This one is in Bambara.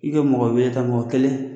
I ka mɔgɔ wɛrɛ ta mɔgɔ kelen